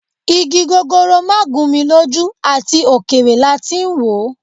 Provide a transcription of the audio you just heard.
Igi gogoro má gún mi lójú, àti òkèèrè láti wò.